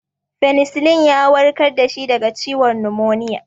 Penicillin ya warkar da shi daga ciwon numoniya.